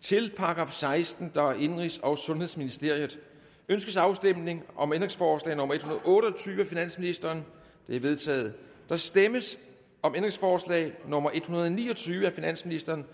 til § sekstende indenrigs og sundhedsministeriet ønskes afstemning om ændringsforslag nummer en hundrede og otte og tyve af finansministeren det er vedtaget der stemmes om ændringsforslag nummer en hundrede og ni og tyve af finansministeren